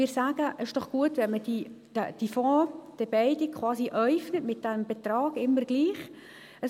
Wir sagen: «Ist doch gut, wenn man diese beiden Fonds mit diesem Betrag immer gleich äufnet.